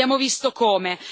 abbiamo visto come.